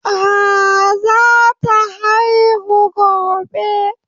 Ehh, zata haihu gobe.